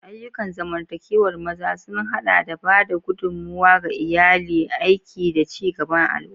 Ayyukan zamantakewar maza sun haɗa da ba da gudummawa ga iyali, aiki, da ci gaban al'umma.